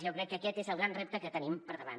jo crec que aquest és el gran repte que tenim per davant